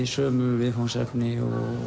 sömu viðfangsefni